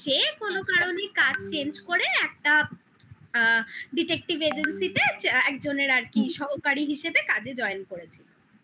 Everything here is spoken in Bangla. সে কোনো কারণে কাজ change করে একটা আ detective agency তে একজনের আর কি সহকারী হিসেবে কাজে join করেছিল